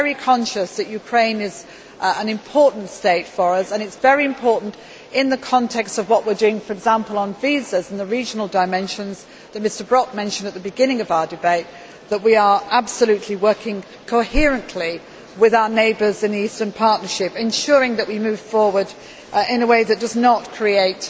I am very conscious that Ukraine is an important state for us. It is very important in the context of what we are doing, for example, on visas and the regional dimensions that Mr Brok mentioned at the beginning of our debate that we are working absolutely coherently with our neighbours in the Eastern Partnership, ensuring that we move forward in a way that does not create